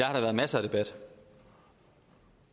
har været masser af debat